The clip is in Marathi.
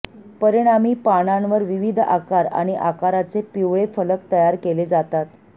परिणामी पानांवर विविध आकार आणि आकाराचे पिवळे फलक तयार केले जातात